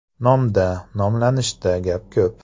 Nomda, nomlanishda gap ko‘p!